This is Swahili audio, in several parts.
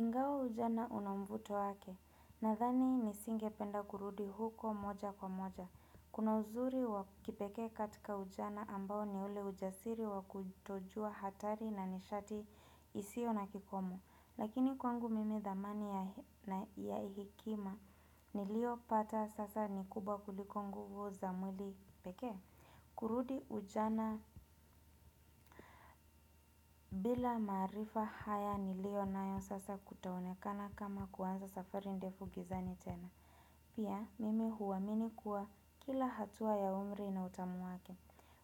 Ngao ujana unamvuto wake, nadhani nisinge penda kurudi huko moja kwa moja. Kuna uzuri wakipekee katika ujana ambao ni ule ujasiri wakutojua hatari na nishati isio na kikomo. Lakini kwangu mimi dhamani ya hikima niliopata sasa ni kubwa kuliko nguvu za mwili pekee. Kurudi ujana bila maarifa haya nilio nayo sasa kutaonekana kama kuanza safari ndefu gizani tena Pia mimi huamini kuwa kila hatua ya umri inautamu wake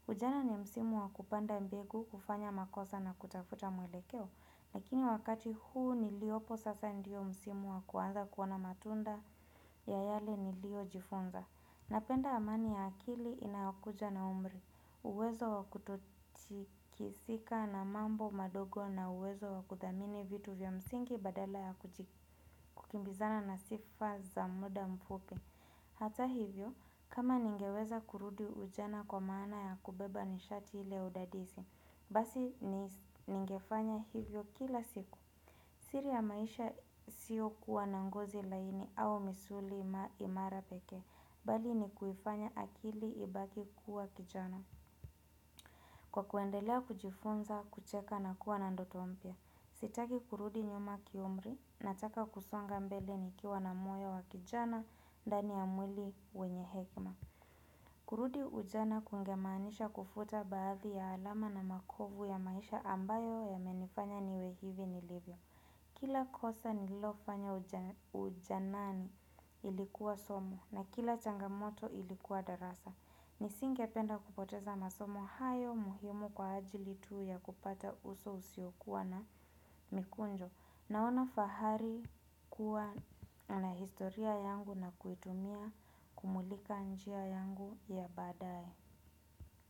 Ujana ni msimu wakupanda mbegu kufanya makosa na kutafuta mwelekeo Lakini wakati huu niliopo sasa ndio msimu wakuanza kuona matunda ya yale nilio jifunza Napenda amani ya akili inayokuja na umri. Uwezo wakututikisika na mambo madogo na uwezo wakudhamini vitu vya msingi badala ya kukimbizana na sifa za muda mfupi. Hata hivyo, kama ningeweza kurudi ujana kwa maana ya kubeba nishati ile udadisi, basi ningefanya hivyo kila siku. Siri ya maisha sio kuwa na ngozi laini au misuli imara pekee, bali ni kuifanya akili ibaki kuwa kijana. Kwa kuendelea kujifunza, kucheka na kuwa na ndoto mpya. Sitaki kurudi nyuma kiumri, nataka kusonga mbele nikiwa na moyo wa kijana, ndani ya mwili wenye hekma. Kurudi ujana kungemanisha kufuta baadhi ya alama na makovu ya maisha ambayo yamenifanya niwe hivi nilivyo. Kila kosa nilofanya ujanani ilikuwa somo na kila changamoto ilikuwa darasa. Nisinge penda kupoteza masomo hayo muhimu kwa ajili tuu ya kupata uso usio kuwa na mikunjo. Naono fahari kuwa na historia yangu na kuitumia kumulika njia yangu ya badae.